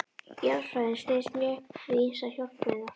Jarðfræðin styðst mjög við ýmsar hjálpargreinar.